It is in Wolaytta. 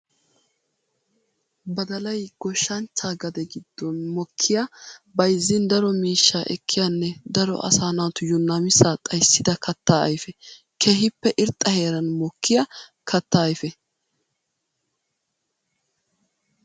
Badallay goshshanchcha gade giddon mokkiya bayzzin daro miishsha ekkiyanne daro asaa naatuyo namissa xayssidda katta ayfe. Keehippe irxxa heeran mokkiya katta ayfe.